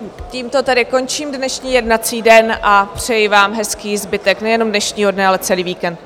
Tímto tedy končím dnešní jednací den a přeji vám hezký zbytek nejenom dnešního dne, ale celý víkend.